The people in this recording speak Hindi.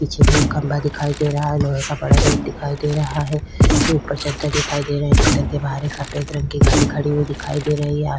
पीछे भी एक खम्भा दिखाई दे रहा है। लोहे का बड़ा गेट दिखाई दे रहा है। ऊपर चद्दर दिखाई दे रहा है। चद्दर के बाहर एक सफ़ेद रंग के गाड़ी खड़ी हुई दिखाई दे रही है।